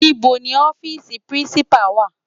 Nibó ni òfisi Pirinsipá wá?